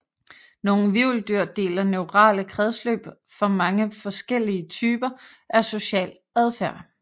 Nogle hvirveldyr deler neurale kredsløb for mange forskellige typer af social adfærd